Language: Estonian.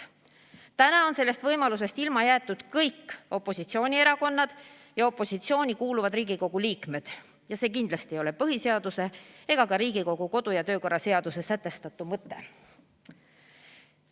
Täna on sellest võimalusest ilma jäetud kõik opositsioonierakonnad ja opositsiooni kuuluvad Riigikogu liikmed ja see kindlasti ei ole põhiseaduse ega ka Riigikogu kodu- ja töökorra seaduses sätestatu mõte.